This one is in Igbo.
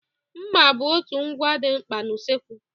mma bụ otu ngwa dị mkpa na usokwu